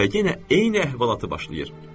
Və yenə eyni əhvalatı başlayır.